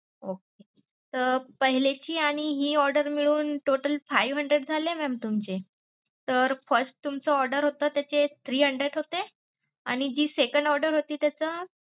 Okay तर पहिले ची आणि हि order मिळून total five hundred झाले mam तुमचे. तर first order तुमचं order होत त्याचे three hundred होते आणि जी second order होती त्याच.